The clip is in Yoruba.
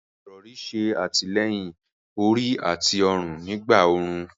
Àwọn irọ̀rì ṣè àtílẹ̀yìn orí àti ọ̀run nígbà orún.